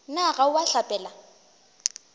na ga o a hlapela